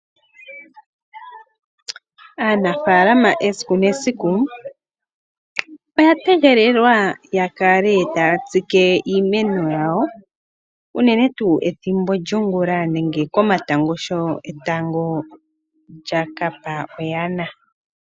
Aanafalama esiku nesiku, oya tegelelwa yakale taya tsike iimeno yawo, unene tuu ethimbo lyongula, nenge komatango sho etango lya kapa oyana.